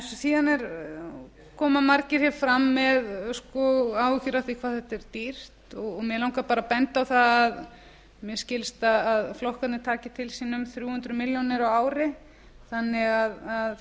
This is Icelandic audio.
síðan koma margir hér fram með áhyggjur af því hvað þetta er dýrt og mig langar bara að benda á það að mér skilst að flokkarnir taki til sín um þrjú hundruð milljónir á ári þannig að